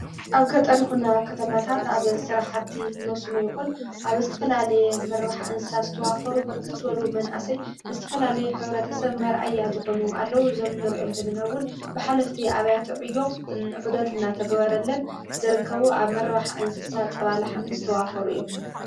ኣብ ገጠሪ ይኹን ኣብ ከተማታት ኣብ ስራሓቲ መስኖ ይኹን ኣብ ዝስተፈላለየ ምርባሕ እንሳ ዝተዋፈሩ ብርክ ዘወሉ መንእሰይ ዝስትፈላልየ ኅብረተሰብ መርኣያ ዝኾኑ ኣለዉ። እዚ እኑርእዮም ዘለናውን ብኃለፍቲ ኣብያተዕዮ ዑደትና እናተገበረለን ዘርከቡ ኣብ መርባሕ እንስሳ ጸባ ላሓምን ዝተዋፈሩ እዮም።